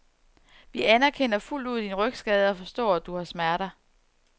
Vi anerkender fuldt ud din rygskade og forstår, at du har smerter.